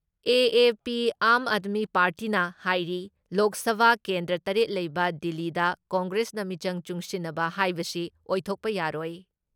AAP. Aam Aadmi ꯄꯥꯔꯇꯤꯅ ꯍꯥꯏꯔꯤ ꯂꯣꯛ ꯁꯚꯥ ꯀꯦꯟꯗ꯭ꯔ ꯇꯔꯦꯠ ꯂꯩꯕ ꯗꯤꯜꯂꯤꯗ ꯀꯪꯒ꯭ꯔꯦꯁꯀ ꯃꯤꯆꯪ ꯆꯨꯡꯁꯤꯟꯅꯕ ꯍꯥꯏꯕꯁꯤ ꯑꯣꯏꯊꯣꯛꯄ ꯌꯥꯔꯣꯏ ꯫